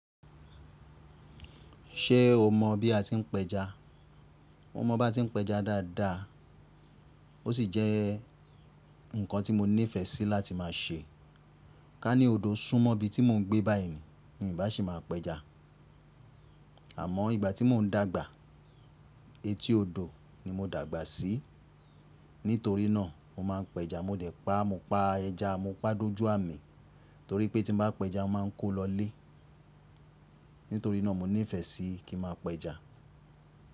Ṣé o mọ̀ bí a ti ń pẹja? Mo mọ̀ bá ti ń pẹja dáadáa, ó sì jẹ́ ǹkan tí mo nífẹ̀ẹ́ sí láti máa ṣe. Ká ní odò sún mọ́ ibi tí mò ń gbé báyìí ni, mi ò bá sì máa pẹja. Àmọ́ ìgbà tí mò ń dàgbà, etí odò ni mo dàgbà sí. Nítorí náà mo máa ń pẹja. Mo dẹ̀ pa, mo pa ẹja, mo pa dojú àmì torí pé tí mo bá pẹja, mo máa ń kó lọ lé. Nítorí náà mo nífẹ̀ẹ́ sí kí n máa pẹja.